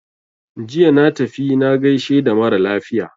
Jiya na tafi na gaishe da mara lafiya.